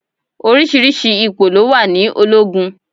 Oríṣiríṣi ipò ló wà ní ológun.